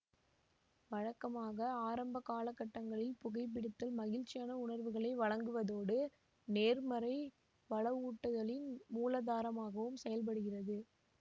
வழக்கமாக ஆரம்ப காலகட்டங்களில் புகைபிடித்தல் மகிழ்ச்சியான உணர்வுகளை வழங்குவதோடு நேர்மறை வலவூட்டுதலின் மூலாதாரமாகவும் செயல்படுகிறது